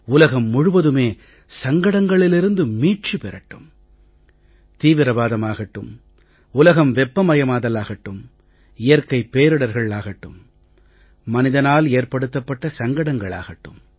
உலகம் முழுவதுமே சங்கடங்களிலிருந்து மீட்சி பெறட்டும் தீவிரவாதமாகட்டும் உலகம் வெப்பமயமாதல் ஆகட்டும் இயற்கைப் பேரிடர்களாகட்டும் மனிதனால் ஏற்படுத்தப்பட்ட சங்கடமாகட்டும்